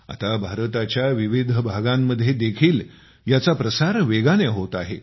आता भारताच्या विविध भागात देखील याचा प्रसार वेगाने होत आहे